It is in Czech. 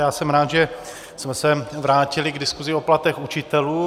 Já jsem rád, že jsme se vrátili k diskusi o platech učitelů.